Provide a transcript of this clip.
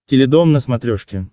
теледом на смотрешке